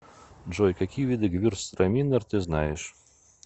джой какие виды гевюрцтраминер ты знаешь